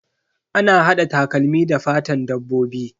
Ana hada takalmi da fatan dabbobi.